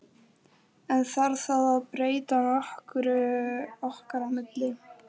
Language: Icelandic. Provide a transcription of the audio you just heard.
En þarf það að breyta nokkru okkar á milli?